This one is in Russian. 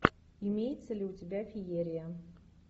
имеется ли у тебя феерия